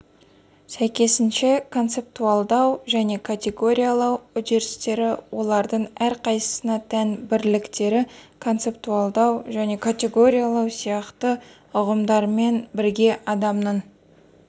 сәйкесінше концептуалдау және категориялау үдерістері олардың әрқайсысына тән бірліктері концептуалдау және категориялау сияқты ұғымдармен бірге адамның